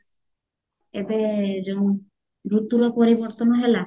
ଏବେ ଯୋଉ ଋତୁ ର ପରିବର୍ତନ ହେଲା